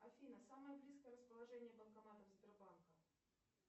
афина самое близкое расположение банкоматов сбербанка